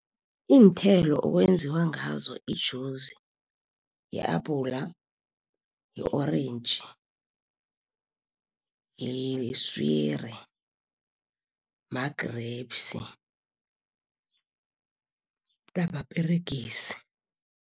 Iinthelo okwenziwa ngazo ijuzi i-abhula, yi-orentji, yiswiri, ma-grapes namaperegisi.